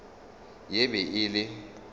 ye e be e le